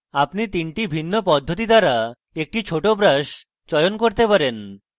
আপনি 3টি ভিন্ন পদ্ধতি দ্বারা একটি ছোট brush চয়ন করতে পারেন